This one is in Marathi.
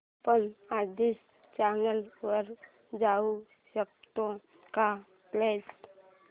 आपण आधीच्या चॅनल वर जाऊ शकतो का प्लीज